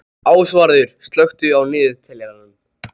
Ásvarður, slökktu á niðurteljaranum.